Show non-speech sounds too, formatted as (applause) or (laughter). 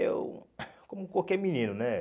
Eu, (coughs) como qualquer menino, né?